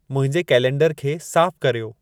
मुंहिंजे कैलेंडर खे साफ़ु कर्यो